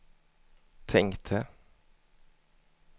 tänkte